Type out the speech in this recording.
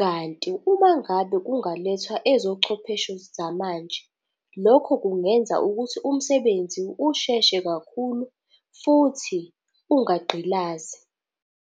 Kanti umangabe kungalethwa ezochwepheshe zamanje, lokho kungenza ukuthi umsebenzi usheshe kakhulu futhi ungagqilazi.